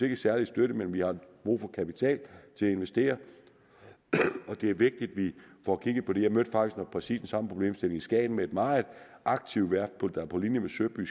ikke særlig støtte men vi har brug for kapital til at investere for det er vigtigt at vi får kigget på det jeg mødte faktisk præcis den samme problemstilling i skagen med et meget aktivt værft der på linje med søby